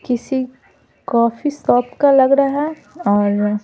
किसी coffee shop का लग रहा है और--